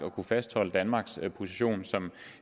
at kunne fastholde danmarks position som